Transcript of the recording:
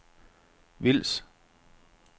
Vils